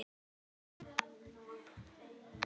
Fyrir nýrri öld!